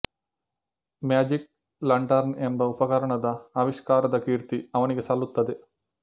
magic lantern ಎಂಬ ಉಪಕರಣದ ಆವಿಷ್ಕಾರದ ಕೀರ್ತಿ ಅವನಿಗೆ ಸಲ್ಲುತ್ತದೆ